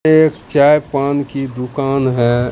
एक चाय पान की दुकान है।